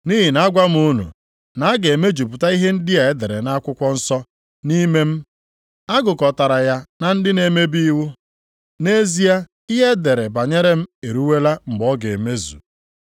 Nʼihi na agwa m unu, na a ga-emejupụta ihe ndị a e dere nʼakwụkwọ nsọ nʼime m, A gụkọtara ya na ndị na-emebi iwu. + 22:37 \+xt Aịz 53:12\+xt* Nʼezie, ihe e dere banyere m eruwela mgbe ọ ga-emezu.”